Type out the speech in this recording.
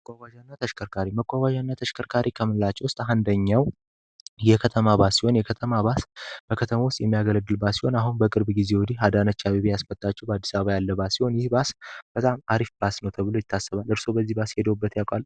ተከርሪመቋጓዣና ተሽከርካሪ ከምላቸው ውስጥ አንደኛው የከተማ ባስ ሲሆን የከተማ ባስ በከተማ ውስጥ የሚያገለግልባት ሲሆን አሁን በቅርብ ጊዜ ውዲ አዳነቻ ቤቤ ያስበታቸው በአዲሳባ ያለባ ሲሆን ይህ ባስ በጣም አሪፍ ባስ ነው ተብሎ ይታሰበን እርሶ በዚህ ባስ ሄደውበት ያቋል